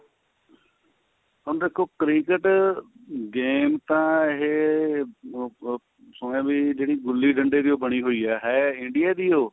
ਹੁਣ ਦੇਖੋ cricket game ਤਾਂ ਇਹ ਬ ਬ ਸੁਣਿਆ ਵੀ ਜਿਹੜੀ ਗੁੱਲੀ ਡੰਡੇ ਦੀ ਓ ਬਣੀ ਹੋਈ ਏ ਹੈ India ਦੀ ਏ ਉਹ